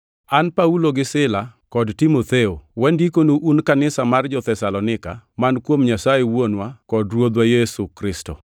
An Paulo gi Sila kod Timotheo, Wandikonu un kanisa mar jo-Thesalonika, man kuom Nyasaye Wuonwa kod Ruoth Yesu Kristo: